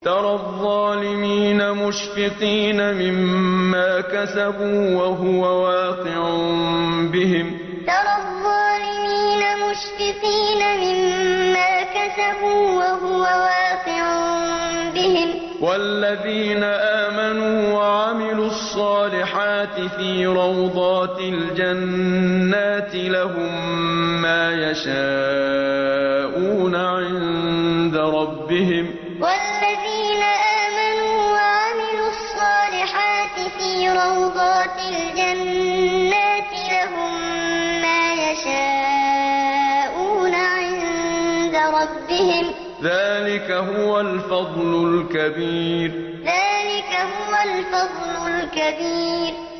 تَرَى الظَّالِمِينَ مُشْفِقِينَ مِمَّا كَسَبُوا وَهُوَ وَاقِعٌ بِهِمْ ۗ وَالَّذِينَ آمَنُوا وَعَمِلُوا الصَّالِحَاتِ فِي رَوْضَاتِ الْجَنَّاتِ ۖ لَهُم مَّا يَشَاءُونَ عِندَ رَبِّهِمْ ۚ ذَٰلِكَ هُوَ الْفَضْلُ الْكَبِيرُ تَرَى الظَّالِمِينَ مُشْفِقِينَ مِمَّا كَسَبُوا وَهُوَ وَاقِعٌ بِهِمْ ۗ وَالَّذِينَ آمَنُوا وَعَمِلُوا الصَّالِحَاتِ فِي رَوْضَاتِ الْجَنَّاتِ ۖ لَهُم مَّا يَشَاءُونَ عِندَ رَبِّهِمْ ۚ ذَٰلِكَ هُوَ الْفَضْلُ الْكَبِيرُ